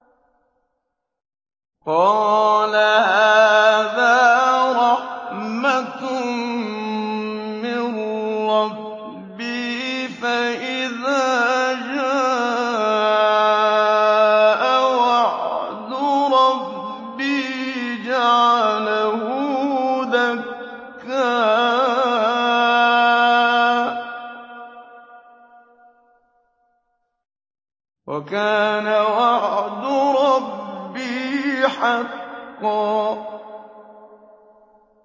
قَالَ هَٰذَا رَحْمَةٌ مِّن رَّبِّي ۖ فَإِذَا جَاءَ وَعْدُ رَبِّي جَعَلَهُ دَكَّاءَ ۖ وَكَانَ وَعْدُ رَبِّي حَقًّا